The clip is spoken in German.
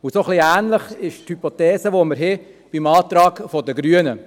Und so ähnlich lautet die Hypothese im Antrag der Grünen.